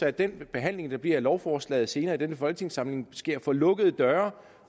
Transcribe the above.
at den behandling der bliver af lovforslaget senere i denne folketingssamling sker for lukkede døre